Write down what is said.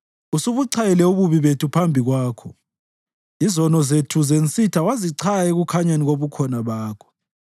Usubuchayile ububi bethu phambi kwakho, izono zethu zensitha wazichaya ekukhanyeni kobukhona bakho.